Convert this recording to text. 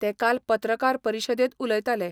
ते काल पत्रकार परिशदेत उलयताले.